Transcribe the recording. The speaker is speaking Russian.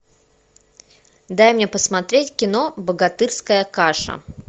дай мне посмотреть кино богатырская каша